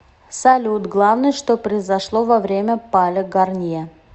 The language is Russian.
салют главное что произошло во время пале гарнье